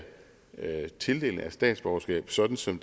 tildelingen af statsborgerskaber sådan som